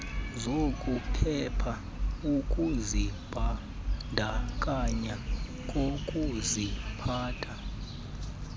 zokuphepha ukuzibandakanya kukuziphatha